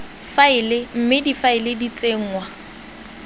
faela mme difaele di tsenngwa